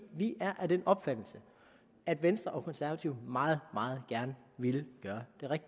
vi er af den opfattelse at venstre og konservative meget meget gerne ville gøre